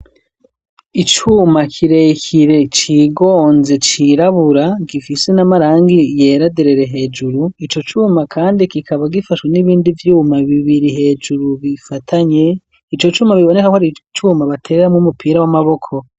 Icuma kirekire cigonze cirabura gifise n'amarangi yeraderere hejuru ico cuma kandi kikaba gifashwe n'ibindi vyuma bibiri hejuru bifatanye ico cuma biboneka ko ari cuma bateramwo umupira w'amaboko.